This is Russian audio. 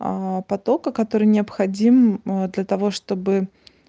потока который необходим а для того чтобы